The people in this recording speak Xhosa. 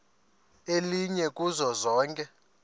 elinye kuzo zonke